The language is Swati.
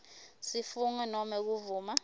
sifungo nobe kuvuma